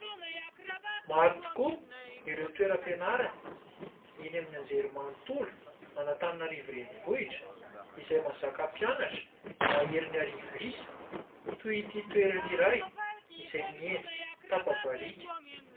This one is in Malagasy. Maro tokoa ireo toeram-pianarana eny amin'ny anjerimanontolo Anatananarivo renivohitra izay mahazaka mpianatra mahery ny arivo isa toy ity toerana iray izay miendrika tapa-bariaka.